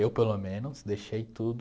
Eu, pelo menos, deixei tudo.